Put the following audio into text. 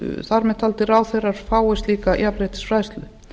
þar með taldir ráðherrar fái slíka jafnréttisfræðslu